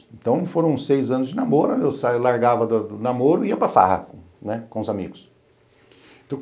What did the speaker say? Então foram seis anos de namoro, eu largava do do namoro e ia para farra, né, com os amigos.